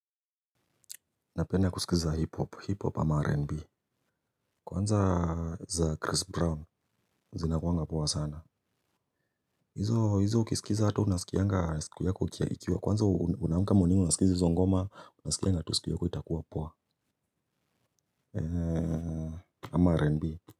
Napenda kusikiliza hip hop, hip hop ama rnb. Kwanza za chris brown zinakuanga poa sana. Hizo hizo ukisikiza hata unasikianga siku yako ikiwa kwanza unaamka morning unasikiza hizo ngoma unasikianga tu siku yako itakua poa ama rnb.